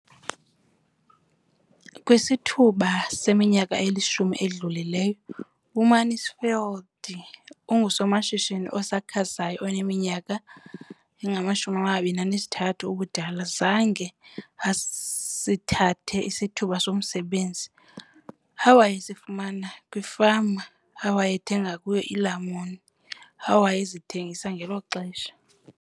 Kwisithuba seminyaka elishumi edlulileyo, uMansfield ungusomashishini osakhasayo oneminyaka engama-23 ubudala, zange asithathe isithuba somsebenzi awayesifumana kwifama awayethenga kuyo iilamuni awayezithengisa ngelo xesha.